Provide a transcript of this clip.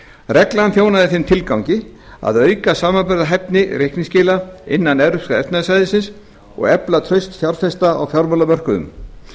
reglan þjónar þeim tilgangi að auka samanburðarhæfni reikningsskila innan evrópska efnahagssvæðisins og efla traust fjárfesta á fjármálamörkuðum